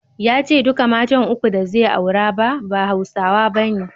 Ya ce duka matan uku da zai aura ba, ba Hausawa bane.